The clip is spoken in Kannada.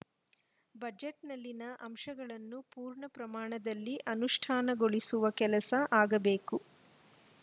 ಬಜೆಟ್‌ನಲ್ಲಿನ ಅಂಶಗಳನ್ನು ಪೂರ್ಣ ಪ್ರಮಾಣದಲ್ಲಿ ಅನುಷ್ಠಾನಗೊಳಿಸುವ ಕೆಲಸ ಆಗಬೇಕು